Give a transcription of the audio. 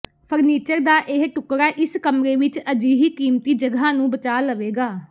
furniture ਦਾ ਇਹ ਟੁਕੜਾ ਇਸ ਕਮਰੇ ਵਿਚ ਅਜਿਹੀ ਕੀਮਤੀ ਜਗ੍ਹਾ ਨੂੰ ਬਚਾ ਲਵੇਗਾ